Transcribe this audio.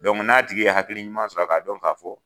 Donku n'a tigi ye hakili ɲuman sɔrɔ k'a dɔn k'a fɔ